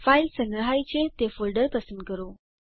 file સંગ્રહાય છે તે ફોલ્ડર પસંદ કરો